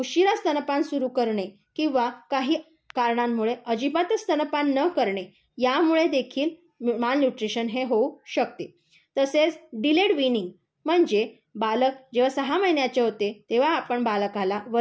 उशिरा स्तनपान सुरू करणे, किंवा काही कारणांमुळे अजिबातच स्तनपान न करणे यामुळे देखील माल न्यूट्रिशन हे होऊ शकते. तसेच डिलेड विनि म्हणजे जेव्हा बालक सहा महिन्यांचे होते तेव्हा आपण बालकाला